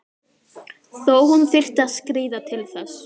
Þó hún þyrfti að skríða til þess.